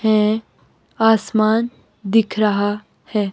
हैं आसमान दिख रहा है।